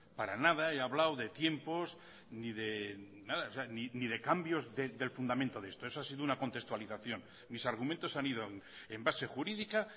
para nada he hablado de tiempos ni de nada ni de cambios del fundamento de esto eso ha sido una contextualización mis argumentos han ido en base jurídica